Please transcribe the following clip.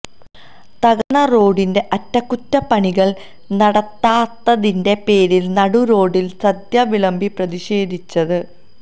തകർന്ന റോഡിന്റെ അറ്റകുറ്റപ്പണികൾ നടത്താതിന്റെ പേരിൽ നടുറോഡിൽ സദ്യ വിളമ്പി പ്രതിഷേധിച്ചത്